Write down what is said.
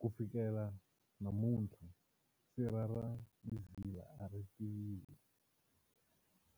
Kufikela namunthla, sirha ra Mzila aritiviwi,